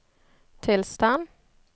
tilstand